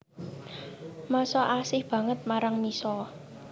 Masha asih banget marang Misha